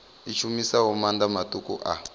i shumisaho maanḓa maṱuku a